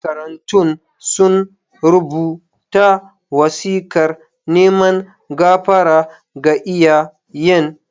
Makarantun sun rubuta wasikar neman gafara ga iyayen.